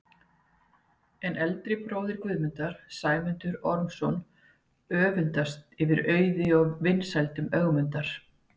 En eldri bróðir Guðmundar, Sæmundur Ormsson, öfundast yfir auði og vinsældum Ögmundar.